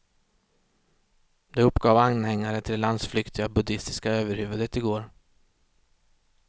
Det uppgav anhängare till det landsflyktiga buddistiska överhuvudet igår.